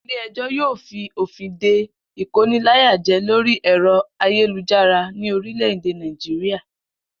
Ilé e̩jò̩ yóò fi òfìn de ìkóniláyàjé̩ lórí è̩ro̩ ayélujára ní orílè̩-èdè Nàìjíríà